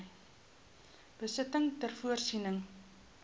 besittings ter voorsiening